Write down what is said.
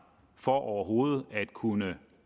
for overhovedet at kunne